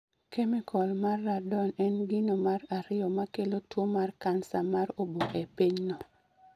Kemikol mar Radon en gino mar ariyo ma kelo tuwo mar kansa mar obo e pinyno